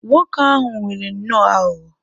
Nwoke ahụ nwere nnọọ aghụghọ.